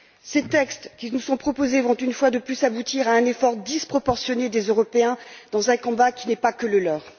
Ces textes qui nous sont proposés vont, une fois de plus, aboutir à un effort disproportionné des Européens dans un combat qui n'est pas que le leur.